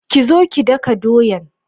kizo ki daka doyan.